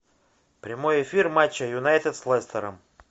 прямой эфир матча юнайтед с лестером